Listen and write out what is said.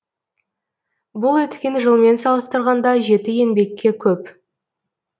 бұл өткен жылмен салыстырғанда жеті еңбекке көп